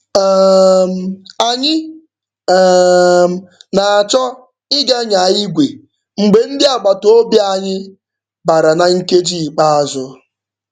um Anyị um na-achọ ịga nyaa igwe mgbe ndị agbataobi anyị bara na nkeji ikpeazụ.